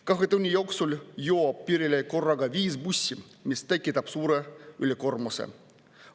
Kahe tunni jooksul jõuab piirile viis bussi, mis tekitab suure ülekoormuse.